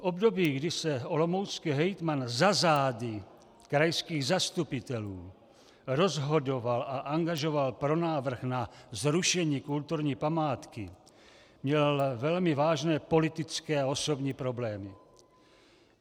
V období, kdy se olomoucký hejtman za zády krajských zastupitelů rozhodoval a angažoval pro návrh na zrušení kulturní památky, měl velmi vážné politické a osobní problémy.